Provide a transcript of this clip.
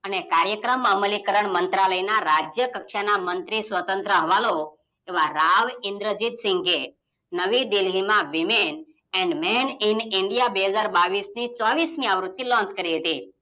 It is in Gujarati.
અને કરાયક્રમ અમલીકરણ મંત્રાલયના રાજ્ય કક્ષાના મંત્રી સ્વતંત્ર હવાલો એવા રાવ ઇંદ્રજીતસિંગે નવી દિલ્હીમાં woman and man in india બે હાજર બાવીસની ચોવીસમી આવૃત્તિ Launch કરી હતી